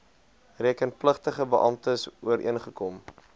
rekenpligtige beamptes ooreengekom